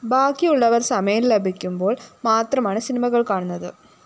ബാക്കിയുള്ളവര്‍ സമയം ലഭിക്കുമ്പോള്‍ മാത്രമാണ്‌ സിനിമകള്‍ കാണുന്നത്‌